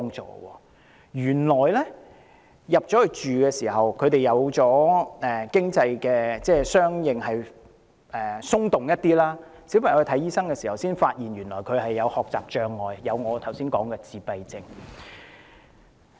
在遷進新居後，他們的經濟相對沒那麼緊絀，小朋友向醫生求診才發現他患有我剛才提及的學習障礙及自閉症。